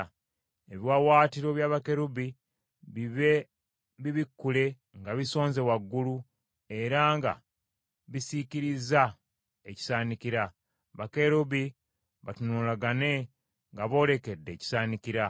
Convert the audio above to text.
Ebiwaawaatiro bya bakerubi bibe bibikkule nga bisonze waggulu, era nga bisiikiriza ekisaanikira. Bakerubi batunulagane nga boolekedde ekisaanikira.